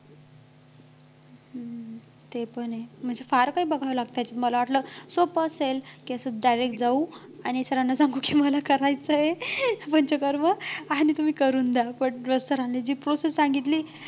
ते पण आहे म्हणजे फार काही बघावं लागतंय मला वाटलं सोपं असेल कि असं direct जाऊ आणि sir ना सांगू की मला करायचं आहे पंचकर्म आणि तुम्ही करून द्या पण मग sir नी जी process सांगितली